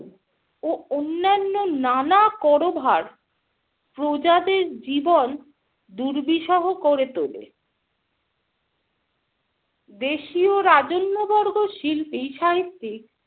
ও অন্যান্য নানা কর ভার প্রজাদের জীবন দুর্বিষহ করে তোলে। দেশীয় রাজন্যবর্গ, শিল্পী-সাহিত্যিক